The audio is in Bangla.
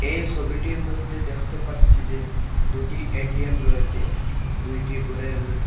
এই ছবিটির মধ্যে দেখতে পাচ্ছি যে দুটি এ_টি_এম রয়েছে দুইটি ঘরের মইধ্যে।